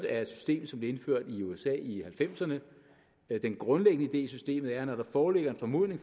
er et system som blev indført i usa i nitten halvfemserne den grundlæggende idé i systemet er at når der foreligger en formodning